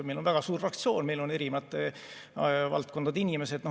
Meil on väga suur fraktsioon, meil on erinevate valdkondade inimesed.